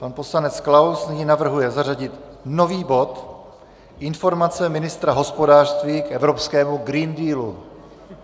Pan poslanec Klaus nyní navrhuje zařadit nový bod - informace ministra hospodářství k evropskému Green Dealu.